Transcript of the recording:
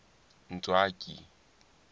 ntswaki